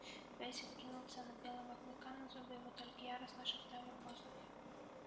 бэсик кинулся на белого клыка но зубы его только яростно шептали в воздухе